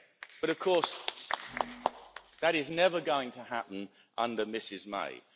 But, of course, that is never going to happen under Mrs May.